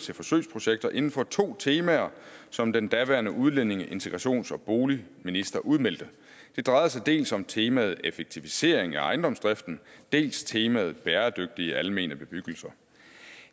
til forsøgsprojekter inden for to temaer som den daværende udlændinge integrations og boligminister udmeldte det drejede sig dels om temaet effektivisering af ejendomsdriften dels temaet bæredygtige almene bebyggelser